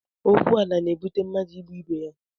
Okwu ala na-ebute mmadụ ịgbụ ibe ya